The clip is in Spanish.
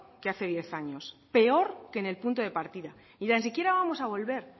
que hace diez años peor que en el punto de partida y ni tan siquiera vamos a volver